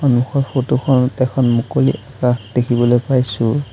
সন্মুখৰ ফটো খনত এখন মুকলি আকাশ দেখিবলৈ পাইছোঁ।